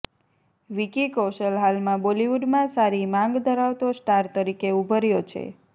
વિકી કોશલ હાલમાં બોલિવુડમાં સારી માંગ ધરાવતો સ્ટાર તરીકે ઉભર્યો છે